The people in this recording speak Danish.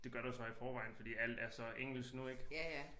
Det gør der jo så i forvejen fordi alt er så engelsk nu ik